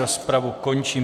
Rozpravu končím.